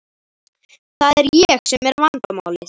Það er ég sem er vandamálið.